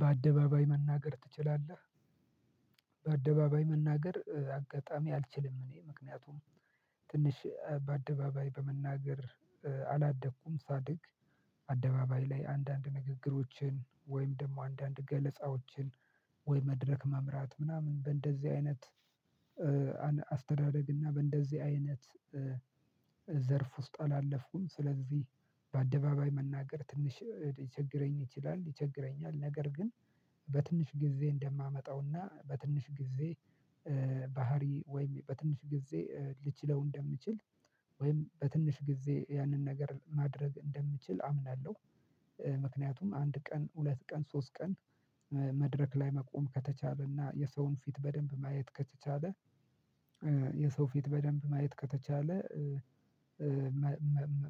በአደባባይ መናገር ትችላለህ? በአደባባይ መናገር አጋጣሚ አልችልም። እኔ ምክንያቱም ትንሽ በአደባባይ በመናገር አላደግኩም። ሳድግ ላይ አንዳንድ ንግግሮችን ወይም ደግሞ አንዳንድ ገለጻዎችን ወይ መድረክ መምራት ምናምን በእንደዚህ አይነት አስተዳደግ እና በእንደዚህ አይነት ዘርፍ ውስጥ አላለፍኩም። ስለዚህ በአደባባይ መናገር ትንሽ ሊቸግረኝ ይችላል። ሊቸግረኝ ነገር ግን በትንሽ ጊዜ እንደማመጣውና በትንሽ ጊዜ ባህሪ ወይም በትንሽ ጊዜ ልችለው እንደምችል ወይም በትንሽ ጊዜ ያንን ነገር ማድረግ እንደምችል አምናለሁ። ምክንያቱም አንድ ቀን፣ ሁለት ቀን፣ ሶስት ቀን፣ መድረክ ላይ መቆም ከተቻለና የሰውን ፊት በደንብ ማየት ከተቻለ የሰው ፊት በደንብ ማየት ከተቻለ